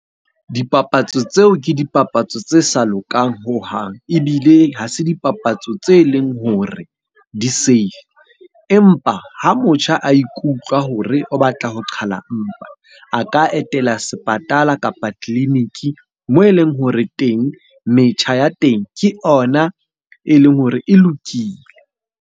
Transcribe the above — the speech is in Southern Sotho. Dipapatso tseo ke dipapatso tse sa lokang hohang, ebile ha se dipapatso tse leng hore di-safe. Empa ha motjha a ikutlwa hore o batla ho qhala mpa, a ka etela sepatala kapa tleliniki moo e leng hore teng metjha ya teng ke ona e leng hore e lokile.